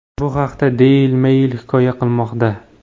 Bu haqda Daily Mail hikoya qilmoqda .